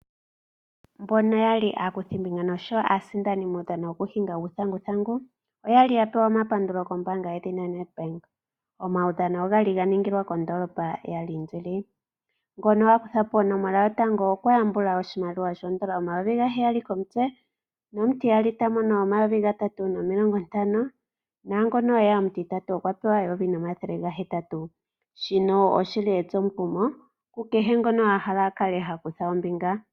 Mbono ya li aakuthimbinga oshowo aasindani muudhano wokuhinga uuthanguthangu oya li ya pewa omapandulo kombaanga yedhina NEdbank. Omaudhano oga li ga ningilwa kondoolopa yaLiindili. Ngono a kutha po onomola yotango okwa yambula oshimaliwa shoodola dhaNamibia omayovi gaheyali komutse nomutiyali ta mono omayovi gatatu nomathele gatano naangu e ya omutitatu okwa pewa eyovi nomathele gahetatu. shino oshi li etsomukumo kukehe ngono a hala a kale ha kutha ombinga.